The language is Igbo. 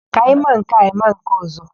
Ka ị ma nke a, ị ma nke ọ̀zọ́?